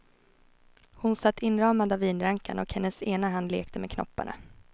Hon satt inramad av vinrankan, och hennes ena hand lekte med knopparna.